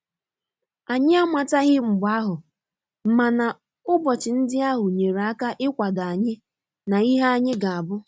Anyị amataghi mgbe ahụ mana ụbọchị ndị ahụ nyere aka ikwado anyi na ihe anyị ga abu